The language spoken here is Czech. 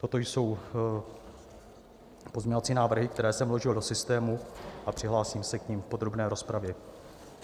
Toto jsou pozměňovací návrhy, které jsem vložil do systému, a přihlásím se k nim v podrobné rozpravě.